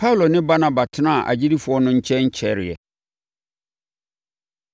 Paulo ne Barnaba tenaa agyidifoɔ no nkyɛn kyɛreeɛ.